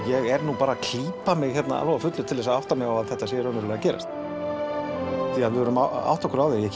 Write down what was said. ég er bara að klípa mig á fullu til að átta mig á að þetta sé í alvörunni að gerast því við verðum að átta okkur á því